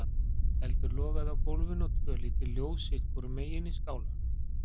Eldur logaði á gólfinu og tvö lítil ljós sitt hvorum megin í skálanum.